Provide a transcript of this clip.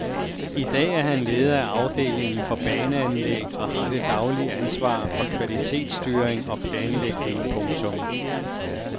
I dag er han leder af afdelingen for baneanlæg og har det daglige ansvar for kvalitetsstyring og planlægning. punktum